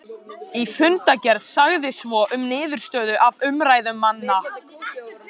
Í fundargerð sagði svo um niðurstöðu af umræðum manna